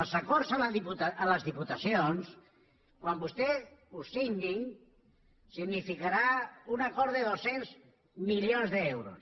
els acords amb les diputacions quan vostès els signin significaran un acord de dos cents milions d’euros